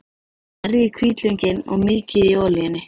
Merjið hvítlaukinn og mýkið í olíunni.